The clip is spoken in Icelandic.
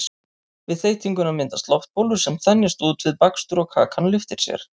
við þeytinguna myndast loftbólur sem þenjast út við bakstur og kakan lyftir sér